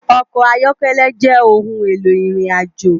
Òkò áyòkèlè jè óoùn éló irinàjó